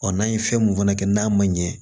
Ɔ n'a ye fɛn mun fana kɛ n'a ma ɲɛ